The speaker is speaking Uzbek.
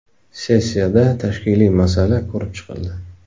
Sessiyada tashkiliy masala ko‘rib chiqildi.